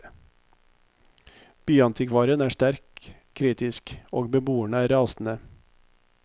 Byantikvaren er sterkt kritisk, og beboerne er rasende.